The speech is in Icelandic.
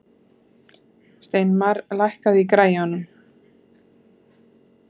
Steinmar, lækkaðu í græjunum.